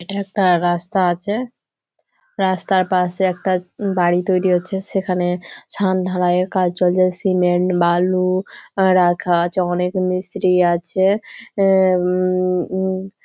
এটা একটা রাস্তা আছে রাস্তার পাশে একটা বাড়ি তৈরী হচ্ছে। সেখানে ছাদ ঢালাইয়ের কাজ চলছে। সিমেন্ট বালু আর রাখা আছে। অনেক মিস্ত্রি আছে হুম--